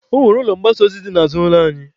Ọ nwere ụlọ mgbasa ozi dị n'azụ ụlọ anyị.